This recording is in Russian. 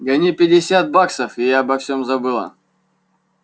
гони пятьдесят баксов и я обо всём забыла